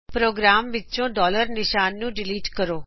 programme ਵਿੱਚੋ ਨਿਸ਼ਾਨ ਨੂੰ ਡਿਲੀਟ ਕਰੋ